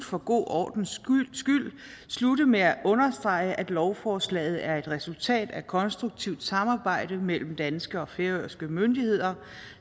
for god ordens skyld slutte med at understrege at lovforslaget er et resultat af konstruktivt samarbejde mellem danske og færøske myndigheder